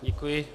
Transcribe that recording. Děkuji.